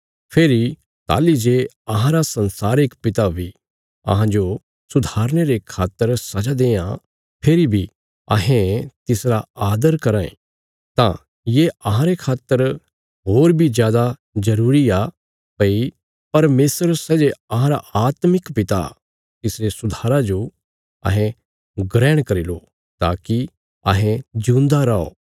फेरी ताहली जे अहांरा संसारिक पिता बी अहांजो सुधारने रे खातर सजा देआं फेरी बी अहें तिसरा आदर कराँ ये तां ये अहांरे खातर होर बी जादा जरूरी आ भई परमेशर सै जे अहांरा आत्मिक पिता तिसरे सुधारा जो अहें ग्रहण करी लो ताकि अहें जिऊंदा रौ